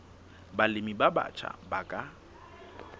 balemi ba batjha ba ka